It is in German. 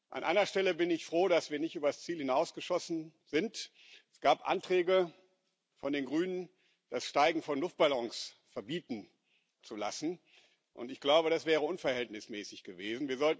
An einer Stelle bin ich froh, dass wir nicht übers Ziel hinausgeschossen sind Es gab Anträge von den Grünen, das Steigen von Luftballons verbieten zu lassen, und ich glaube, das wäre unverhältnismäßig gewesen.